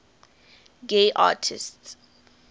gay artists